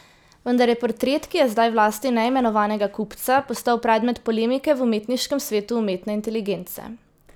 Vendar je portret, ki je zdaj v lasti neimenovanega kupca, postal predmet polemike v umetniškem svetu umetne inteligence.